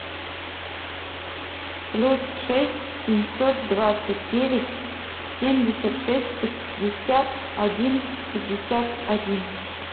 плюс шесть семьсот двадцать девять семьдесят шесть пятьдесят один пятьдесят один